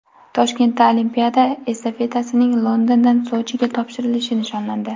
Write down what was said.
Toshkentda olimpiada estafetasining Londondan Sochiga topshirilishi nishonlandi.